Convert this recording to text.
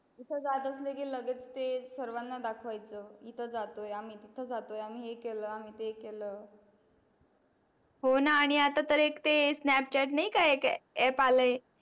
कुठे जात असले की लगेच ते सर्वाना दाखवायच इथे जातोय आम्ही तिथे जातोय आम्ही हे केल आम्ही ते केल होणा आणि आता तर एक ते sanpchat नाही का एक app आलय